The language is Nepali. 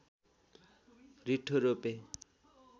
रिट्ठो रोपे